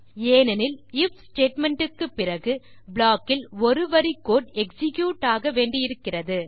ஏனென்றால் if statement க்குப் பிறகு ப்ளாக்கில் ஒரு வரி கோடு எக்ஸிக்யூட் ஆக வேண்டி இருக்கிறது